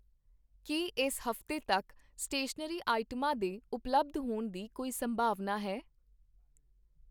ਕੀ ਇਸ ਹਫ਼ਤੇ ਤੱਕ ਸਟੇਸ਼ਨਰੀ ਆਈਟਮਾਂ, ਦੇ ਉਪਲੱਬਧ ਹੋਣ ਦੀ ਕੋਈ ਸੰਭਾਵਨਾ ਹੈ?